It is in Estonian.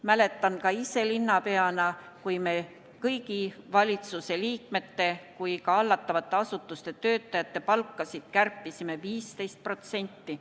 Mäletan ka ise linnapeana, kui me kõigi valitsuse liikmete kui ka hallatavate asutuste töötajate palkasid kärpisime 15%.